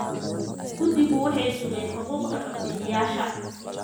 Guddigu waxay sugeen xuquuqda codbixiyayaasha.